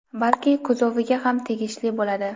balki kuzoviga ham tegishli bo‘ladi.